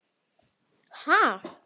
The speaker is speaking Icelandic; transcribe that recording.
Gunnar: Ha!